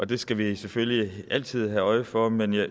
det skal vi selvfølgelig altid have øje for men jeg